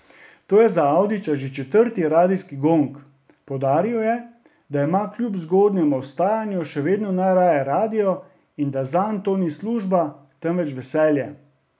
To je za Avdića že četrti radijski gong, poudaril je, da ima kljub zgodnjemu vstajanju še vedno najraje radio in da zanj to ni služba, temveč veselje.